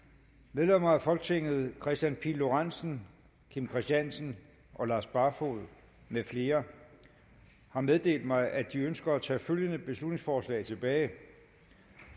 medlemmer af folketinget kristian pihl lorentzen kim christiansen og lars barfoed med flere har meddelt mig at de ønsker at tage følgende beslutningsforslag tilbage